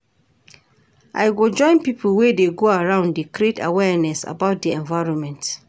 I go join pipo wey dey go round dey create awareness about di environment.